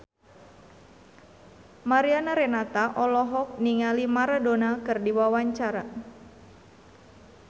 Mariana Renata olohok ningali Maradona keur diwawancara